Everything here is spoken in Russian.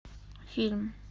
фильм